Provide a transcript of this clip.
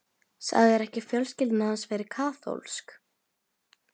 Sagðirðu ekki að fjölskyldan hans væri kaþólsk?